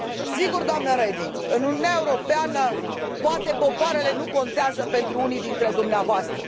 Sigur, doamnă Reding, în Uniunea Europeană poate popoarele nu contează pentru unii dintre dumneavoastră.